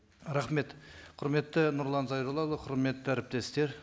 рахмет құрметті нұрлан зайроллаұлы құрметті әріптестер